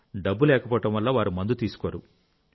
డబ్బు లేకపోవడం వల్ల వారు మందు తీసుకోరు